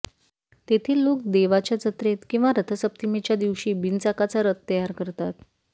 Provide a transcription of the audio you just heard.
तेथील लोक देवाच्या जत्रेत किंवा रथसप्तमीच्या दिवशी बिनचाकाचा रथ तयार करतात